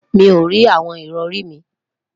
Mo rí awọn ìrọrì mi